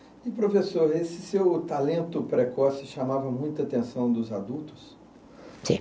E, professor, esse seu talento precoce chamava muita atenção dos adultos? Sim